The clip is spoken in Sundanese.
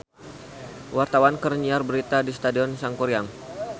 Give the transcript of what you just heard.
Wartawan keur nyiar berita di Stadion Sangkuriang